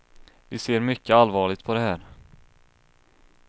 Vi ser mycket allvarligt på det här.